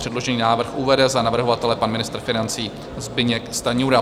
Předložený návrh uvede za navrhovatele pan ministr financí Zbyněk Stanjura.